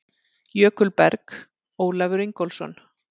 Jökulberg: Ólafur Ingólfsson.